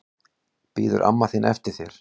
Bíður amma þín eftir þér?